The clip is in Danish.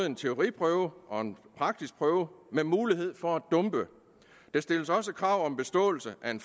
en teoriprøve og en praktisk prøve med mulighed for at dumpe der stilles også krav om beståelse af en